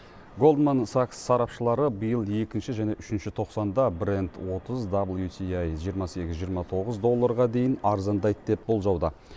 голдман сакс сарапшылары биыл екінші және үшінші тоқсанда брент отыз даблютиаи жиырма сегіз жиырма тоғыз долларға дейін арзандайды деп болжауда